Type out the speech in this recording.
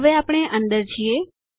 હવે આપણે અંદર છીએ